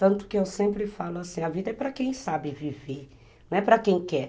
Tanto que eu sempre falo assim, a vida é para quem sabe viver, não é para quem quer.